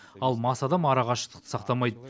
ал мас адам ара қашықтықты сақтамайды